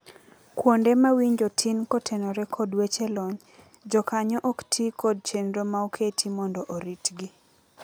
Kuonde mawinjo tin kotenore kod weche lony, jokanyo oktii kod chenr maoketi mondo oritgi.